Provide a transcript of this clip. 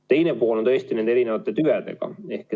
Teine küsimus on tõesti nende erinevate tüvedega.